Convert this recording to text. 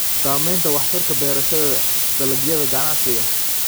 Saamaynta waxtarka beerashada dalagyada ganacsiga.